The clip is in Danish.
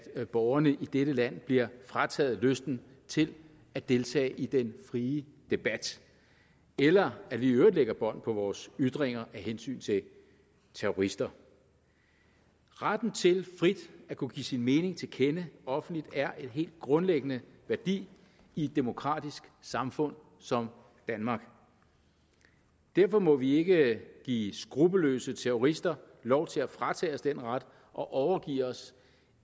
at borgerne i dette land bliver frataget lysten til at deltage i den frie debat eller at vi i øvrigt lægger bånd på vores ytringer af hensyn til terrorister retten til frit at kunne give sin mening til kende offentligt er en helt grundlæggende værdi i et demokratisk samfund som danmark derfor må vi ikke give skruppelløse terrorister lov til at fratage os den ret og overgive os